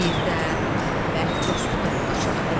Birdə bərk dostudur o qaçaq Eldar.